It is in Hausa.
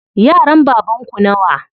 Yaran baban ku nawa?